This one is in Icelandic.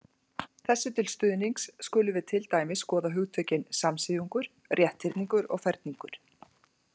Þessu til stuðnings skulum við til dæmis skoða hugtökin samsíðungur, rétthyrningur og ferningur.